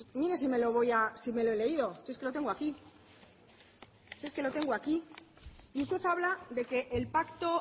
mire si me lo he leído si es que lo tengo aquí si es que lo tengo aquí y usted habla de que el pacto